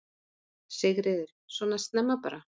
Sigríður: Svona snemma bara?